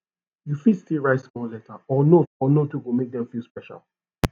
yu fit stil write small letter or note or note wey go mek dem feel special